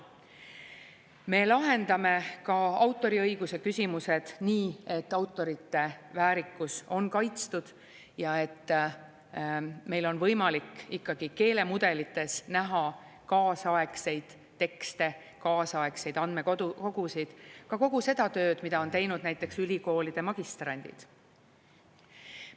Me lahendame ka autoriõiguse küsimused nii, et autorite väärikus on kaitstud ja et meil on võimalik ikkagi keelemudelites näha kaasaegseid tekste, kaasaegseid andmekogusid, ka kogu seda tööd, mida on teinud näiteks ülikoolide magistrandid.